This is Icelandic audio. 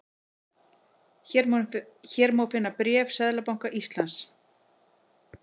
Hér má finna bréf Seðlabanka Íslands